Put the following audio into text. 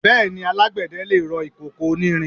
Bẹ́ẹ̀ni, alágbẹ̀dẹ lè rọ ìkòkò onírin.